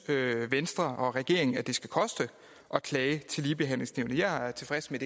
venstre og regeringen at det skal koste at klage til ligebehandlingsnævnet jeg er tilfreds med